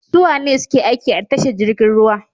Suwane suke aiki a tashar jirgin ruwa?